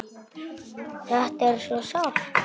Þetta er svo sárt.